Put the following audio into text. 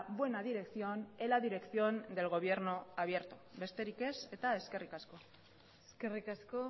buena dirección en la dirección del gobierno abierto besterik ez eta eskerrik asko eskerrik asko